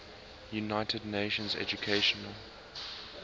united nations educational